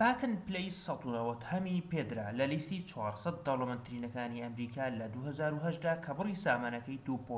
باتن پلەی ١٩٠هەمی پێدرا لە لیستی ٤٠٠ دەوڵەمەندترینەکانی ئەمریکا لە ٢٠٠٨ دا کە بری سامانەکەی ٢.٣